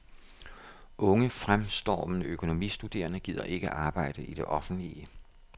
Unge fremstormende økonomistuderende gider ikke arbejde i det offentlige.